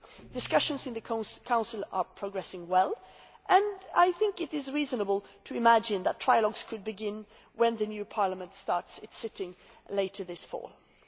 Discussions in the Council are progressing well and I think it is reasonable to imagine that trialogues could begin when the new Parliament starts its session later this autumn.